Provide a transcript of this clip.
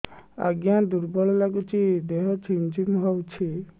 ଆଜ୍ଞା ଦୁର୍ବଳ ଲାଗୁଚି ଦେହ ଝିମଝିମ ହଉଛି